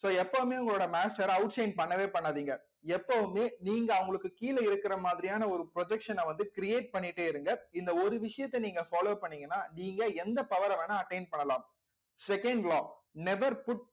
so எப்பவுமே உங்களோட master ஐ outshang பண்ணவே பண்ணாதீங்க எப்பவுமே நீங்க அவங்களுக்கு கீழே இருக்கிற மாதிரியான ஒரு projection அ வந்து create பண்ணிட்டே இருங்க இந்த ஒரு விஷயத்த நீங்க follow பண்ணீங்கன்னா நீங்க எந்த power அ வேணா attain பண்ணலாம் second law never put